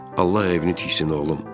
Allah evini tiksin, oğlum.